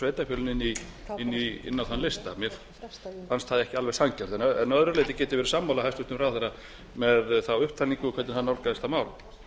sveitarfélögin inn á þann lista mér fannst það ekki alveg sanngjarnt en að öðru leyti get ég verið sammála hæstvirtum ráðherra með þá upptalningu og hvernig hann nálgaðist þetta mál